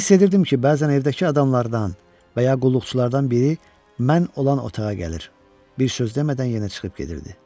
Hiss edirdim ki, bəzən evdəki adamlardan və ya qulluqçulardan biri mən olan otağa gəlir, bir söz demədən yenə çıxıb gedirdi.